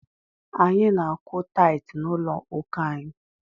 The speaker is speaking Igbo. Anyị na-akwụ taịtị n'ụlọ ụka anyị.